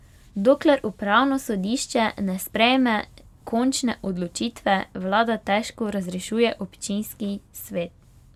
Dokler upravno sodišče ne sprejme končne odločitve, vlada težko razrešuje občinski svet.